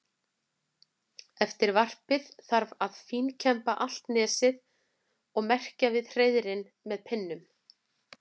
Eftir varpið þarf að fínkemba allt nesið og merkja við hreiðrin með pinnum.